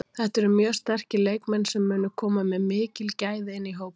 Þetta eru mjög sterkir leikmenn sem munu koma með mikil gæði inn í hópinn.